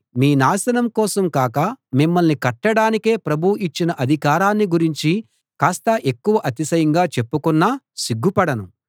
మీ నాశనం కోసం కాక మిమ్మల్ని కట్టడానికే ప్రభువు ఇచ్చిన అధికారాన్ని గురించి కాస్త ఎక్కువ అతిశయంగా చెప్పుకున్నా సిగ్గుపడను